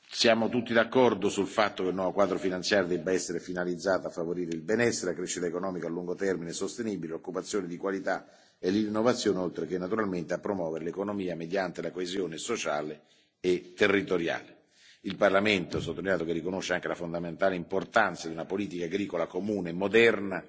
Siamo tutti d'accordo sul fatto che il nuovo quadro finanziario debba essere finalizzato a favorire il benessere, la crescita economica a lungo termine sostenibile, l'occupazione di qualità e l'innovazione, oltre che naturalmente a promuovere l'economia mediante la coesione sociale e territoriale. Ho sottolineato che il Parlamento riconosce anche la fondamentale importanza di una politica agricola comune moderna